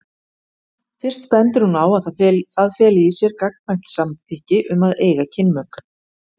Fyrst bendir hún á að það feli í sér gagnkvæmt samþykki um að eiga kynmök.